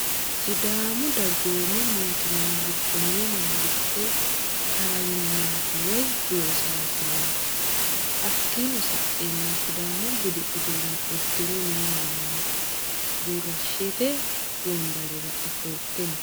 Sidàamu dagoommi mootimma giddo noo mangisite kawinati woyi losasineti hakiino sa'eena sidàamu buddi uduunne udirre noo manati burushete wonbarerra ofolite no.